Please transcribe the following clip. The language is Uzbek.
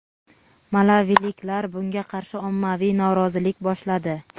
Malaviliklar bunga qarshi ommaviy norozilik boshladi.